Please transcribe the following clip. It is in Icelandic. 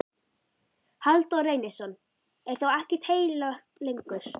Halldór Reynisson: Er þá ekkert heilagt lengur?